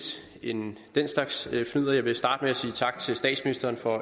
end den slags fnidder jeg vil starte med at sige tak til statsministeren for